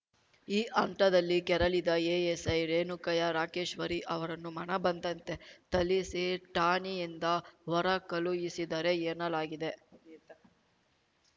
ಈ ಹಂತದಲ್ಲಿ ಕೆರಳಿದ ಎಎಸ್‌ಐ ರೇಣುಕಯ್ಯ ರಾಕೇಶ್ವರಿ ಅವರನ್ನು ಮನಬಂದಂತೆ ಥಳಿಸಿ ಠಾಣೆಯಿಂದ ಹೊರ ಕಳುಹಿಸಿದರೆ ಎನ್ನಲಾಗಿದೆ